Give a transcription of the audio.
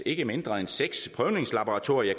ikke mindre end seks prøvningslaboratorier